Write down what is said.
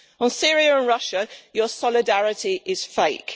On Syria and Russia your solidarity is fake.